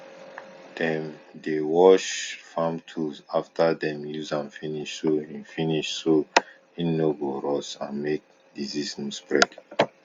dem dey wash farm tools after dem use am finish so hin finish so hin no go rust and make disease no spread